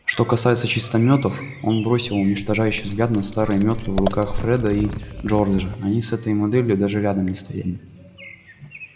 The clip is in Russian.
что касается чистомётов он бросил уничтожающий взгляд на старые мётлы в руках фреда и джорджа они с этой моделью даже рядом не стояли